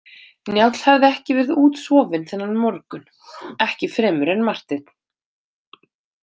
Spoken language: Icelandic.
Njáll hafði ekki verið útsofinn þennan morgun, ekki fremur en Marteinn.